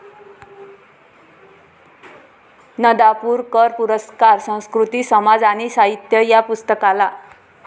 नदापुर कर पुरस्कार संस्कृती समाज आणि साहित्य या पुस्तकाला